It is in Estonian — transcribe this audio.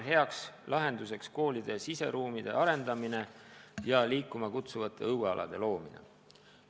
Hea lahendus on koolide siseruumide arendamine ja liikuma kutsuvate õuealade loomine.